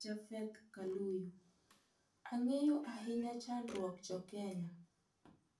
Japheth Kaluyu: ang'eyo ahinya achandruok jo kenya